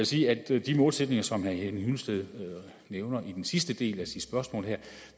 sige at de målsætninger som herre henning hyllested nævner i den sidste del af sit spørgsmål her